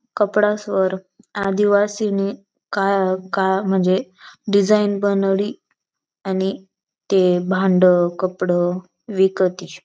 कपड़ा असं वर आदिवासी नी काय काय मजे डिजाइन बनाउली आणि ते भांड कपड़ विकती.